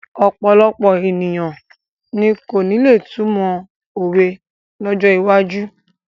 Ọ̀pọ̀lọpọ̀ ènìyàn ni kò ní lè túmọ̀ òwe lọ́jọ́ iwájú.